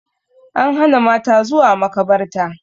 An hana mata zuwa makabarta